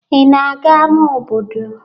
Ị na-aga ámá obodo?